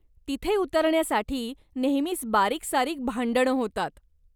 तिथे उतरण्यासाठी नेहमीच बारीकसारीक भांडणं होतात.